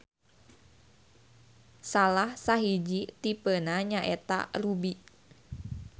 Salah sahiji tipena nyaeta ruby.